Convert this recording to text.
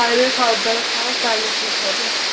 বাইরের খাবার দাবার খা তাহলে ঠিক হবে